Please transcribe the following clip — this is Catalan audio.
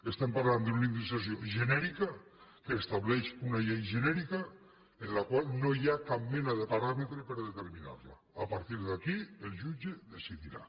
estem parlant d’una indemnització genèrica que estableix una llei genèrica en la qual no hi ha cap mena de paràmetre per determinar la a partir d’aquí el jutge decidirà